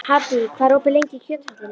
Haddý, hvað er opið lengi í Kjöthöllinni?